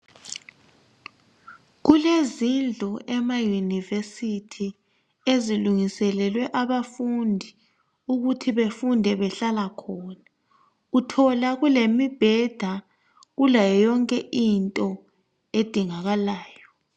Kulezindlu ema university e, ilungiselelwe abafundi ukuthi befunde behlala khona uthola kulemibheda kulayo yonke into edingakalayo.